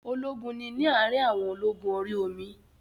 Ológun ni ní àrin àwọn ológun orí omi